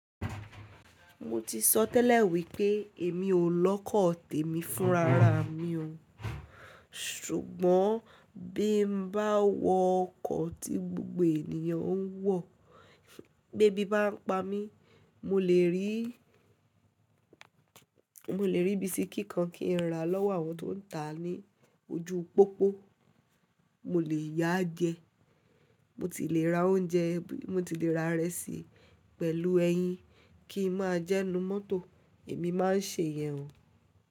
Mo ti sọ tẹ́lẹ̀ wípé èmi ò lọ́kọ̀ tèmi fún rara mi o. Ṣùgbọ́n bí n bá wọ ọkọ̀ tí gbogbo ènìyàn ń wọ̀, bí ebí bá ń pa mí, mo lè rí, mo lè rí bisikí kan kí n rà lọ́wọ́ àwọn tó ń tà á ní ojú pópó, mo lè yaá jẹ. Mo ti lè ra oúnjẹ, mo ti lè ra ìrẹsì pẹ̀lú ẹyin, kí n máa jẹ ninu mọ́tò, èmi máa ń ṣe ìyè o.